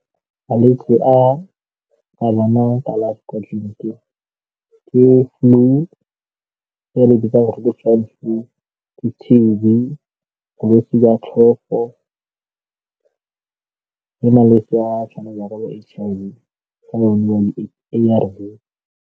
Malwetse a a kalafi kwa tleliniking ke flu e re bitsang re re ke le T_B, ke bolwetse jwa tlhogo le malwetse a tshwanang jaaka bo-H_I_V A_R_V.